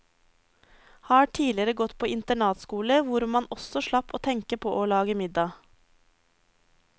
Har tidligere gått på internatskole hvor man også slapp å tenke på å lage middag.